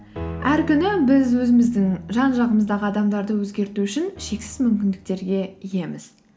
әр күні біз өзіміздің жан жағымыздағы адамдарды өзгерту үшін шексіз мүмкіндіктерге иеміз